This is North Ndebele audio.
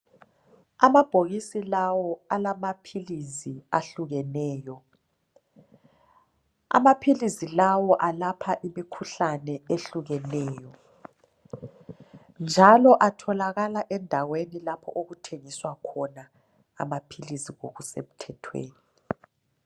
Amabhokisi lawo lamaphilisi ahlukeneyo, amaphilisi lawa alapha imikhuhlane ehlukeneyo njalo atholakala endaweni lapha okuthengiswa khona amaphilisi ngokusemthethweni .